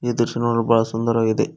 ಈ ದೃಶ್ಯ ನೋಡಲು ಬಹಳ ಸುಂದವಾಗಿದೆ.